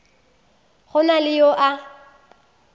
go na le yo a